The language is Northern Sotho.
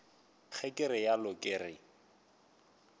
ga ke realo ke re